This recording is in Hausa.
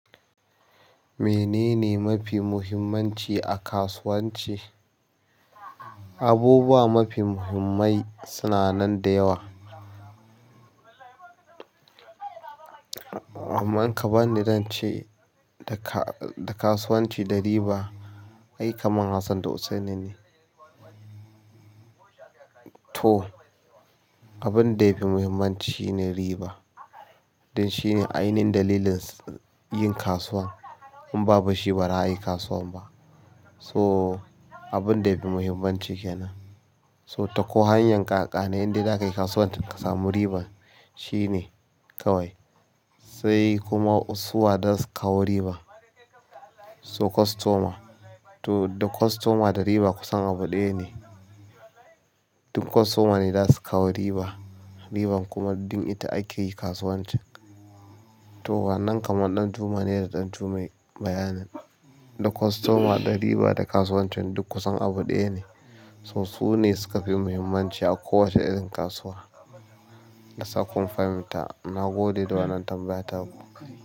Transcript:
Menene mafi muhimmanci a kasuwanci? Abubuwa mafi muhimmai suna nan da yawa. Kuma kaman yanda zance da kasuwanci da riba, ai kamar Hassan da Hussaini ne. To, abun da yafi muhimmanci shine riba dan shine ainihin dalilin yin kasuwa in babu shi ba za a yi kasuwa ba. So abun da yafi muhimmanci kenan. So ta ko hanyar ƙaƙane indai za ka yi kasuwan ka samu riba shine kawai, sai kuma su wa za su kawo riba. So customer, to da customer da riba kusan abu ɗaya ne. Duk customer ne zasu kawo riba, riban kuma dan ita akeyin kasuwancin. To wannan kamar ɗanjuma ne da ɗan jummai bayanin, da customer, da riba da kasuwancin duk kusan abu ɗaya ne. So su ne suka fi muhimmanci a kowace irin kasuwa. Allah sa kun fahimta, na gode da wannan tambayar taku.